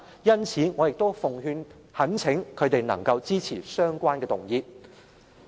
因此，我奉勸並懇請他們支持相關的修訂。